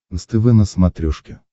нств на смотрешке